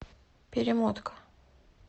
перемотка